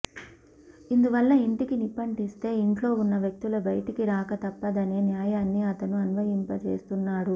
ఇందువల్ల ఇంటికి నిప్పంటిస్తే ఇంట్లో ఉన్న వ్యక్తుల బైటికి రాక తప్పదనే న్యాయాన్ని అతను అన్వయింపచేస్తున్నాడు